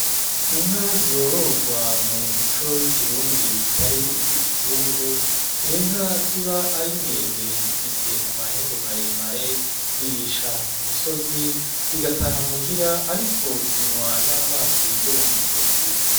Inka zororwa mu muco w'ikirundi zitari izi ikizungu, n'inka ziba ari ndende zifise amahembe maremare zirisha ku misozi, zigataha muhira ariko zinwa n'amazi yo mu migezi